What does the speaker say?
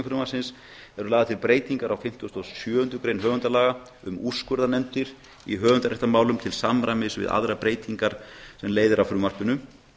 eru lagðar til breytingar á fimmtugustu og sjöundu grein höfundalaga um úrskurðarnefndir í höfundaréttarmálum til samræmis við aðrar breytingar sem leiða af frumvarpinu